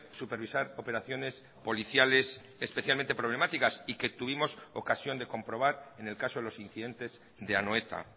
supervisar operaciones policiales especialmente problemáticas y que tuvimos ocasión de comprobar en el caso de los incidentes de anoeta